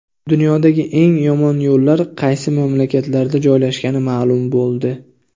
Dunyodagi eng yomon yo‘llar qaysi mamlakatlarda joylashgani ma’lum bo‘ldi.